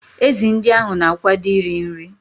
Ezi ndị ahụ na-akwado iri nri.